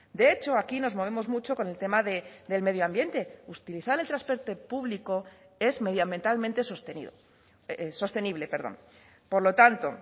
de hecho aquí nos movemos mucho con el tema del medio ambiente utilizar el transporte público es medioambientalmente sostenido sostenible perdón por lo tanto